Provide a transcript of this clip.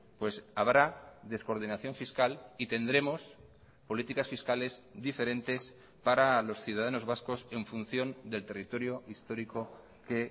pues habrá descoordinación fiscal y tendremos políticas fiscales diferentes para los ciudadanos vascos en función del territorio histórico que